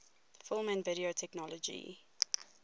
film and video technology